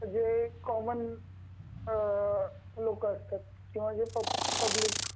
common लोक असतात किंवा जे पब्लिक